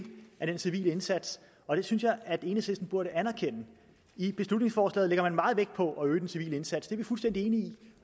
af den civile indsats og det synes jeg enhedslisten burde anerkende i beslutningsforslaget lægger man meget vægt på at øge den civile indsats er vi fuldstændig enige i